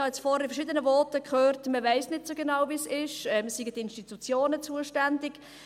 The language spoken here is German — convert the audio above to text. Ich habe in verschiedenen Voten gehört, man wisse nicht so genau, wie es ist, und die Institutionen seien zuständig.